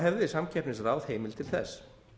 hefði samkeppnisráð heimild til þess